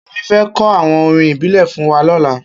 Kemi fè kò áwòn órìn ìbílè fún wà lòlà